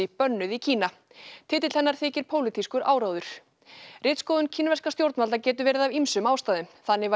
bönnuð í Kína titill hennar þykir pólitískur áróður ritskoðun kínverskra stjórnvalda getur verið af ýmsum ástæðum þannig var